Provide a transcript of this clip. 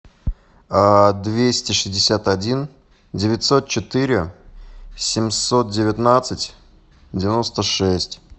двести шестьдесят один девятьсот четыре семьсот девятнадцать девяносто шесть